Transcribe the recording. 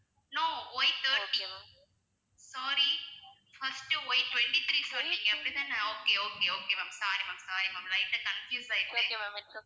no Y thirty sorry first Y twenty- three சொன்னிங்க அப்படித்தானே okay okay okay ma'am sorry ma'am sorry ma'am light ஆ confuse ஆயிட்டேன்